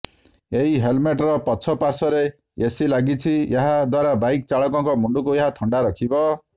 ଏହି ହେଲମେଟର ପଛ ପାର୍ଶ୍ୱରେ ଏସି ଲାଗିଛି ଏହା ଦ୍ୱାରା ବାଇକ୍ ଚାଳକଙ୍କ ମୁଣ୍ଡକୁ ଏହା ଥଣ୍ଡା ରଖିବ